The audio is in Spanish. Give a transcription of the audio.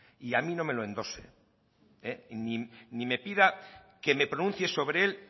y a mí no me lo endose ni me pida que me pronuncie sobre él